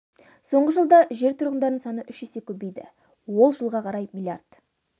соңғы жылда жер тұрғындарының саны үш есе көбейді ол жылға қарай млрд